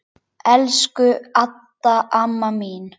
Elsku Adda amma mín.